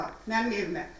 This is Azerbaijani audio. Yəni mənim evimə.